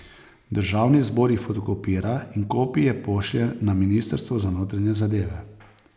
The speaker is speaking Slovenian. Državni zbor jih fotokopira in kopije pošlje na ministrstvo za notranje zadeve.